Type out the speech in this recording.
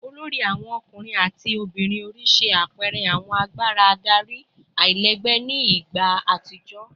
olori awon ọkunrin ati ọmọbirin ori ṣe apẹẹrẹ awọn agbara adari alailẹgbẹ ni igba atijọ